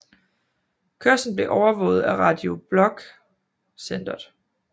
Kørslen bliver overvåget af Radio Blok Centeret